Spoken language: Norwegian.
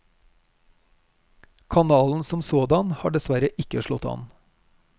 Kanalen som sådan har desssverre ikke slått an.